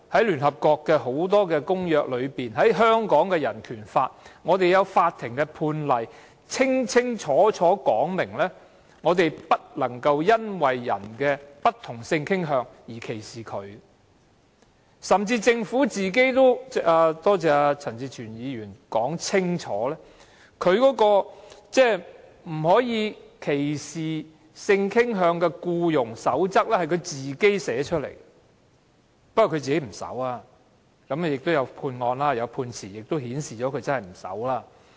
聯合國國際人權公約、《香港人權法案條例》、法庭判例等均清楚說明，不得因為別人的不同性傾向而作出歧視，政府甚至編製了——多謝陳志全議員說明——《消除性傾向歧視僱傭實務守則》，不過政府本身不遵守，而且亦有判例顯示政府不遵守。